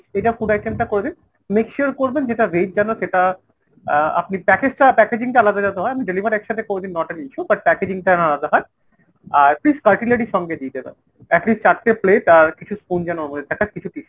এটা food item টা করবেন। make sure করবেন যেটা veg যেন সেটা আহ আপনি package টা packaging টা আলাদা যাতে হয় ,আপনি deliver একসাথে করে দিন not an issue but packaging টা যেন আলাদা হয়। আর please cutlery সঙ্গে দিয়ে দেবেন। at least চারটে plate আর কিছু spoon যেন ওর মধ্যে থাকে আর কিছু tissue।